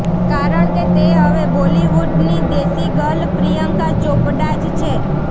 કારણ કે તે હવે બોલીવુડની દેશી ગર્લ પ્રિયંકા ચોપડા જ છે